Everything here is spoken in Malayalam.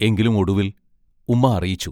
എങ്കിലും ഒടുവിൽ ഉമ്മാ അറിയിച്ചു.